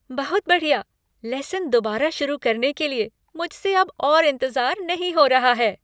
बहुत बढ़िया! लेसन दोबारा शुरू करने के लिए, मुझसे अब और इंतज़ार नहीं हो रहा है।